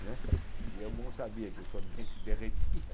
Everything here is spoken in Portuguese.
Né e eu não sabia que o sorvete derretia.